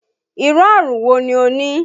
Irú àrùn wò ní o ní?